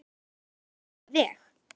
Magnað alveg.